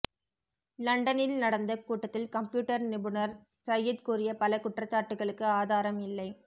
லண்டனில் நடந்த கூட்டத்தில் கம்ப்யூட்டர் நிபுணர் சையத் கூறிய பல குற்றச்சாட்டுகளுக்கு ஆதாரம் இல்லை